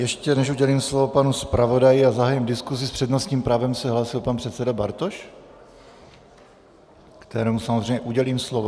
Ještě než udělím slovo panu zpravodaji a zahájím diskusi, s přednostním právem se hlásil pan předseda Bartoš, kterému samozřejmě udělím slovo.